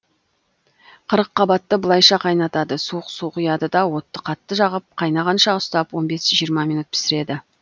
қырыққаббатты былайша қайнатады суық су құяды да отты қатты жағып қайнағанша ұстап он бес жиырма минут пісіреді